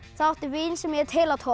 það átti við sem hét